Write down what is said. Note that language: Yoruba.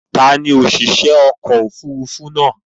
Ta ni òṣìṣẹ́ ọkọ̀-òfurufú náà?